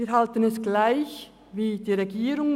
Wir halten es gleich wie die Regierung: